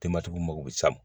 Tematigiw mago be can